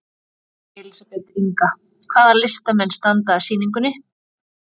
Elísabet Inga: Hvaða listamenn standa að sýningunni?